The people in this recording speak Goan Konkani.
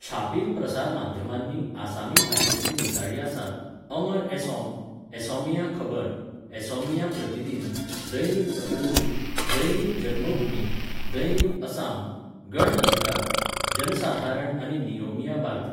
छापील प्रसार माध्यमांनी आसामी भाशेंतलीं दिसाळीं आसात, अमर असॉम, असॉमिया खबर, असॉमिया प्रतिदिन, दैनिक अग्रदूत, दैनिक जनमभूमी, दैनिक असाम, गण अधिकार, जनसाधारण आनी नियोमिया बार्ता.